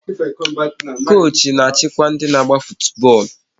Koochi na-achịkwa ndị n'agba futu bọọlụ